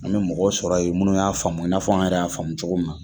An mɛ mɔgɔ sɔrɔ yen munnu y'a faamu i n'a fɔ, an yɛrɛ y'a faamu cogo min na